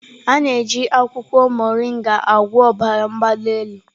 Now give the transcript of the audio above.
A na-eji akwụkwọ Mọringa agwọ ọbara mgbali elu.